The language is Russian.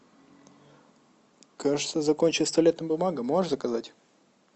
кажется закончилась туалетная бумага можешь заказать